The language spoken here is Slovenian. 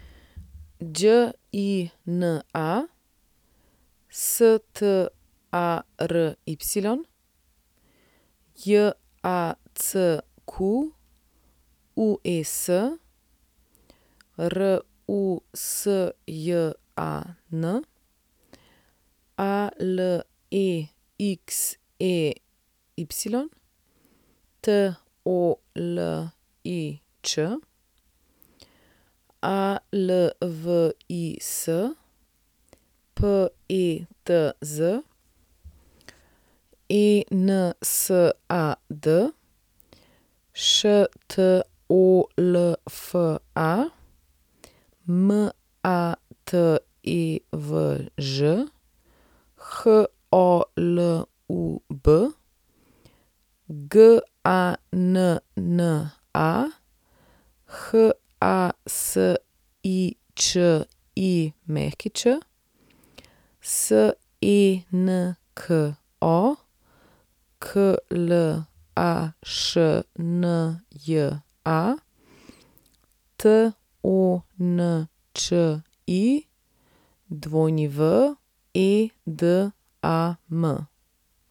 Đina Stary, Jacques Rusjan, Alexey Tolič, Alvis Petz, Ensad Štolfa, Matevž Holub, Ganna Hasičić, Senko Klašnja, Tonči Wedam.